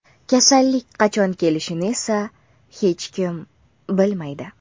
Kasallik qachon kelishini esa hech kim bilmaydi.